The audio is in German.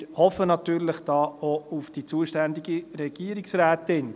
Wir hoffen da natürlich auch auf die zuständige Regierungsrätin.